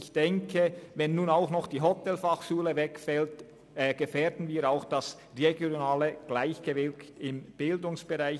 Wenn nun auch noch die Hotelfachschule Thun wegfällt, gefährden wir auch das regionale Gleichgewicht im Bildungsbereich.